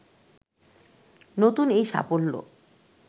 নতুন এই সাফল্য